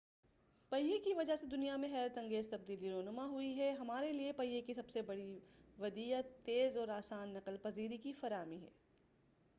پہیہ کی وجہ سے دنیا میں حیرت انگیز تبدیلی رونما ہوئی ہے ہمارے لئے پہیہ کی سب سے بڑی ودیعت تیز اور آسان نقل پذیری کی فراہمی ہے